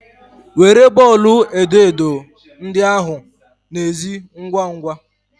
Were bọọlụ edo edo ndị ahụ na ezi ngwa ngwa!